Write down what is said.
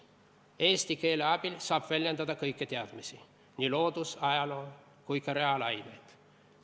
Eesti keele abil saab väljendada kõiki teadmisi: nii looduse, ajaloo kui ka reaalainete vallas.